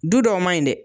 Du dɔw man ɲi dɛ